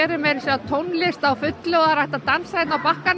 er meira að segja tónlist á fullu og hægt að dansa á bakkanum